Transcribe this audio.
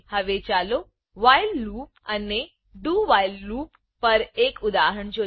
હવે ચાલો while loop while loop અને do while loop do while loop પર એક ઉદાહરણ જોઈએ